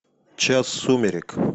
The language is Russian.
час сумерек